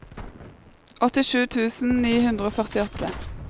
åttisju tusen ni hundre og førtiåtte